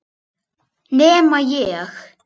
Nema ég.